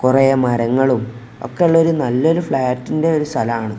കുറെ മരങ്ങളും ഒക്കെ ഉള്ള ഒരു നല്ലൊരു ഫ്ലാറ്റിന്റെ ഒരു സ്ഥലമാണ്.